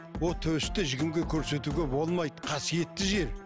ол төсті көрсетуге болмайды қасиетті